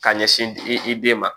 Ka ɲɛsin di i den ma